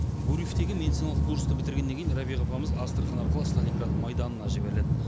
гурьевтегі медициналық курсты бітіргеннен кейін рәбиға апамыз астрахань арқылы сталинград майданына жіберіледі